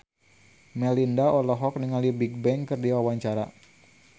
Melinda olohok ningali Bigbang keur diwawancara